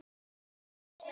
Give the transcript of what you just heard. Líka ástin.